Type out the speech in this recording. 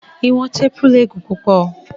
Iwọn teepu le gun pupọ